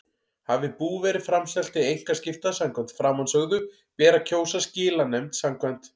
Hafi bú verið framselt til einkaskipta samkvæmt framansögðu ber að kjósa skilanefnd samkvæmt